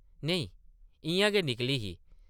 नेईं, इʼयां गै निकली ही ।